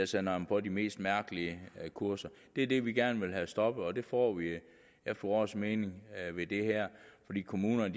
sender dem på de mest mærkelige kurser det er det vi gerne vil have stoppet og det får vi efter vores mening ved det her fordi kommunerne